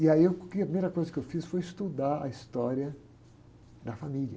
E aí eu, que, a primeira coisa que eu fiz foi estudar a história da família.